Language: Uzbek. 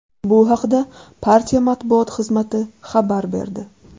Bu haqda partiya matbuot xizmati xabar berdi.